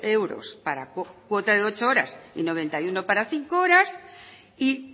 euros para cuotas de ocho horas y noventa y cinco para cinco horas y